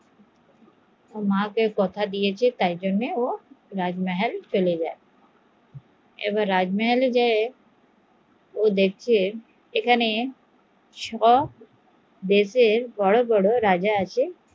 মা কে কথা দিয়েছে তাই ও রাজমহলে চলে যায়, এবার রাজমাহাল এ গিয়ে ও দেখে এখানে সব দেশের বড়ো বড়ো রাজা আছে